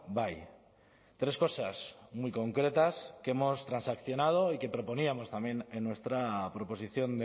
bai tres cosas muy concretas que hemos transaccionado y que proponíamos también en nuestra proposición